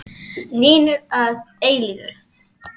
Vinir að eilífu.